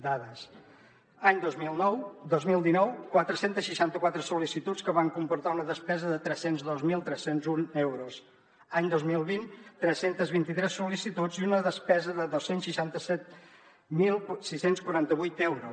dades any dos mil dinou quatre cents i seixanta quatre sol·licituds que van comportar una despesa de tres cents i dos mil tres cents i un euros any dos mil vint tres cents i vint tres sol·licituds una despesa de dos cents i seixanta set mil sis cents i quaranta vuit euros